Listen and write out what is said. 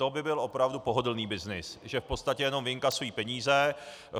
To by byl opravdu pohodlný byznys, že v podstatě jenom vyinkasují peníze.